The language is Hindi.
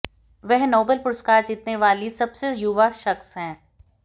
वह नोबेल पुरस्कार जीतने वाली सबसे युवा शख्स हैं